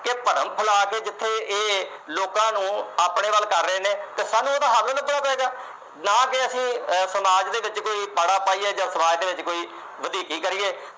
ਤੇ ਭਰਮ ਫੈਲਾ ਕੇ ਇਹ ਜਿੱਥੇ ਇਹ ਲੋਕਾਂ ਨੂੰ ਆਪਣੇ ਵੱਲ ਕਰ ਰਹੇ ਨੇ ਤੇ ਸਾਨੂੰ ਉਹਦਾ ਹੱਲ ਲੱਭਣਾ ਪਏਗਾ। ਨਾ ਕਿ ਅਸੀਂ ਸਮਾਜ ਦੇ ਵਿੱਚ ਕੋਈ ਪਾੜਾ ਪਾਈਏ ਜਾਂ ਅਸੀਂ ਸਮਾਜ ਦੇ ਵਿੱਚ ਕੋਈ ਵਧੀਕੀ ਕਰੀਏ